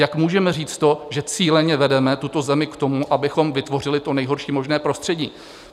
Jak můžeme říct to, že cíleně vedeme tuto zemi k tomu, abychom vytvořili to nejhorší možné prostředí?